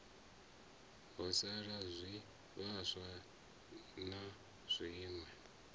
ho sa zwivhaswa na zwiwe